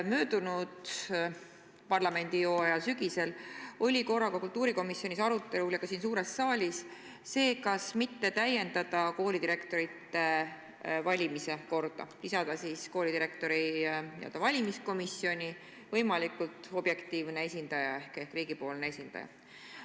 Möödunud parlamendihooaja sügisel oli korra kultuurikomisjonis ja ka siin suures saalis arutelul see, kas mitte täiendada koolidirektorite valimise korda, lisada koolidirektori valimise komisjoni võimalikult objektiivne esindaja ehk riigi esindaja.